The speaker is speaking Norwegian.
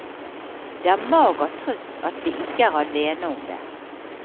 Det er mager trøst at vi ikke er alene om det.